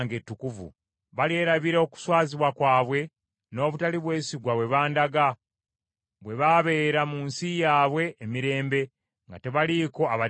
Balyerabira okuswazibwa kwabwe, n’obutali bwesigwa bwe bandaga, bwe baabeera mu nsi yaabwe emirembe, nga tebaliiko abatiisa.